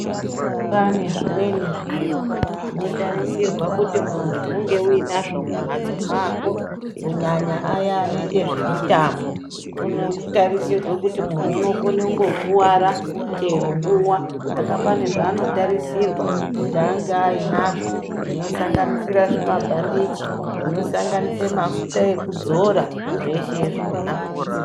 Panezvimwe zviro zvinotarisirwa kuti uyinazvo mumbatso mwako kunyanya aya anoita zvemutambo kuno tarisirwa kuti muntu unokone ungangokuwara chero nguva saka pane zvaanotarisirwa zvanenge anozvo zvo osanganosira zvimabhandichi zvinosanganisira mafita ekuzora zvese zvona.